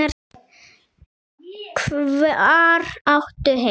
Hvar áttu heima?